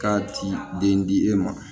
K'a ti den di e ma